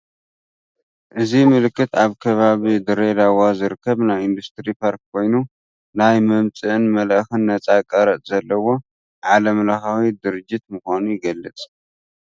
እዚ ምልክት ኣብ ከባቢ ድሬዳዋ ዝርከብ ናይ ኢንዱስትሪ ፓርክ ኮይኑ ናይ መምጽእን መልአኽን ነጻ ቀረጽ ዘለዎ ዓለም ለኸ ድርጅት ምኻኑ ይገልጽ።